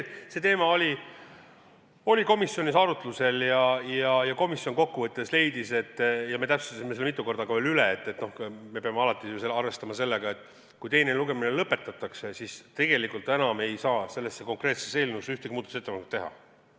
Ka see teema oli komisjonis arutluse all ja komisjon kokku võttes leidis – me täpsustasime seda veel mitu korda üle –, et peame alati arvestama sellega, et kui teine lugemine lõpetatakse, siis tegelikult ei saa selle konkreetse eelnõu kohta enam ühtegi muudatusettepanekut teha.